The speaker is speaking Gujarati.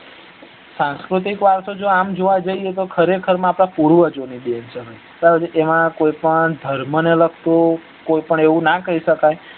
સાંસ્કૃતિક વરસો જો આમ જોવા જઈએ તો પૂર્વજો ની દેન છે એમાં કોઈ પણ ધર્મ ને લાગતું એવું કોઈ પણ ના કરી સકાય